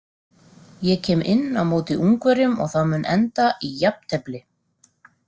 Ég kem inn á móti Ungverjum og það mun enda í jafntefli.